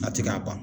A tɛ ka ban